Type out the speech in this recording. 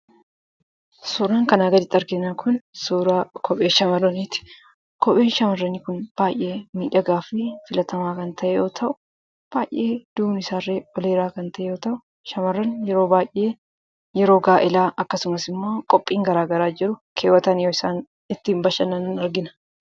Suuraan kanaa gaditti arginu kun suuraa kophee shamarraniiti. Kopheen shamarranii kun baayyee miidhagaafi filatamaa kan ta'e yoo ta'u, baayyee duubnisaallee ol dheeraa kan ta'e yoo ta'u, shamarreen yeroo baayyee yeroo gaa'ilaa akkasumasimmoo qophii garagaraa jiru keewwatanii yo isaan ittiin bashannanan argina.